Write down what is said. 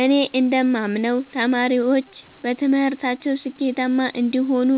እኔ እንደማምነው ተማሪዎች በትምህርታቸው ስኬታማ እንዲሆኑ